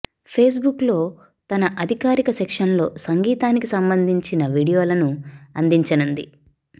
Facebook లో తన అధికారిక సెక్షన్ లో సంగీతానికి సంబంధించిన వీడియోలను అందించనుంది